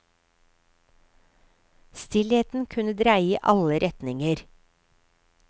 Stillheten kunne dreie i alle retninger.